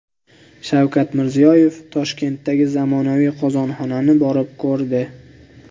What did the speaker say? Shavkat Mirziyoyev Toshkentdagi zamonaviy qozonxonani borib ko‘rdi.